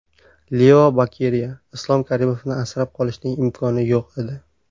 Leo Bokeriya: Islom Karimovni asrab qolishning imkoni yo‘q edi.